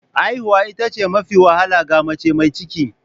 Haihuwa ita ce mafi wahala ga mace mai ciki.